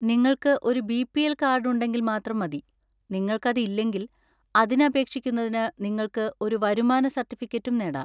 നിങ്ങൾക്ക് ഒരു BPL. Card ഉണ്ടെങ്കിൽ മാത്രം മതി, നിങ്ങൾക്കത് ഇല്ലെങ്കിൽ, അതിന് അപേക്ഷിക്കുന്നതിന് നിങ്ങൾക്ക് ഒരു വരുമാന സർട്ടിഫിക്കറ്റും നേടാം.